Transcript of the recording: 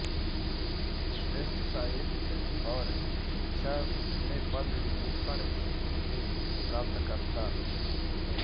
श्रेणीसाहित्य और शिक्षा में पद्म विभूषण के प्राप्तकर्ता